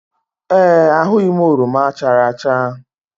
Ee, ahụghị m oroma chara acha